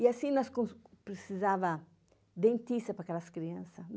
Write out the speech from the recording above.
E assim nós precisava dentista para aquelas criança.